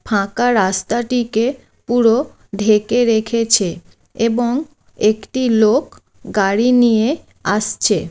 ফাঁকা রাস্তাটিকে পুরো ঢেকে রেখেছে এবং একটি লোক গাড়ি নিয়ে আসছে।